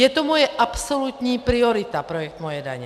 Je to moje absolutní priorita, projekt Moje daně.